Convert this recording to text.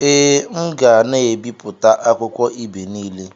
Ee, m ga na-ebipụta akwukwo ibe niile.